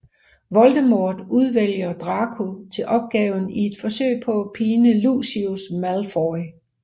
Voldemort udvælger Draco til opgaven i et forsøg på at pine Lucius Malfoy